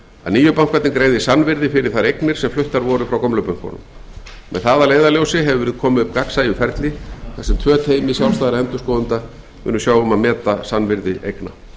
að nýju bankarnir greiði sannvirði fyrir þær eignir sem fluttar voru frá gömlu bönkunum með það að leiðarljósi hefur verið komið upp gagnsæju ferli þar sem tvö teymi sjálfstæðra endurskoðenda munu sjá um að meta sannvirði eigna